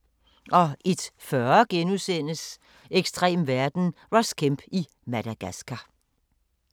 01:40: Ekstrem verden – Ross Kemp i Madagascar *